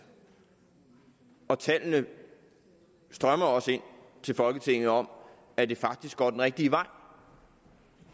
og tallene strømmer også ind til folketinget om at det faktisk går den rigtige vej